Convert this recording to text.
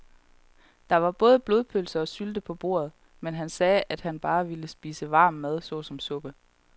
Der var både blodpølse og sylte på bordet, men han sagde, at han bare ville spise varm mad såsom suppe.